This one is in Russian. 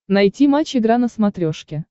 найти матч игра на смотрешке